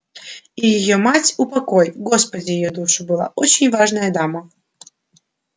и её мать упокой господи её душу была очень важная дама